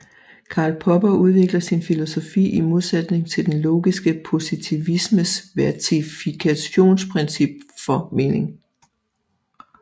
Karl Popper udvikler sin filosofi i modsætning til den logiske positivismes verifikationsprincip for mening